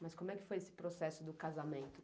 Mas como é que foi esse processo do casamento?